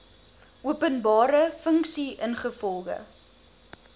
openbare funksie ingevolge